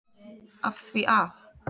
Af því að?